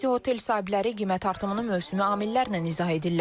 Bəzi otel sahibləri qiymət artımını mövsümi amillərlə izah edirlər.